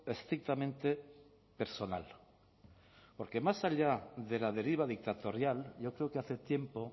estrictamente personal porque más allá de la deriva dictatorial yo creo que hace tiempo